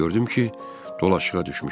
Gördüm ki, dolaşığa düşmüşəm.